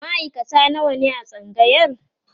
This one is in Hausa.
maaikata nawa ne a tsangayar?